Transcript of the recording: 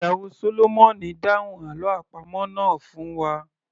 Ìyàwó sólómọ̀nì dáhùn àlọ́ àpamọ̀ náà fún wa